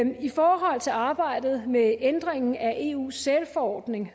i forhold til arbejdet med ændringen af eus sælforordning